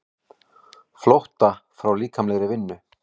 Birkir spurði Jóhann hvort Hjördís hefði sett sig í samband við hann.